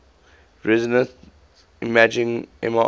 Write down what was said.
resonance imaging mri